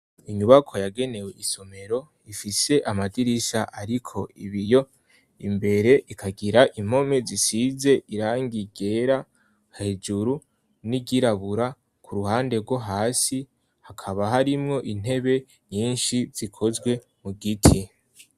Inyubako yagenewe isomero, ifise amadirisa ariko ibiyo. Imbere ikagira impome zisize irangi ryera hejuru n'iryirabura ku ruhande rwo hasi ; hakaba harimwo intebe nyinshi zikozwe mu giti.